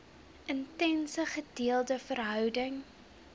intense gedeelde verhouding